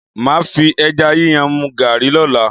Màá fi ẹja yíyan mu Garri lọ́la.